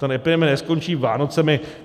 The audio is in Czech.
Ta epidemie neskončí Vánocemi.